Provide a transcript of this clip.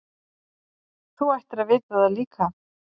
Þú ættir að vita það líka.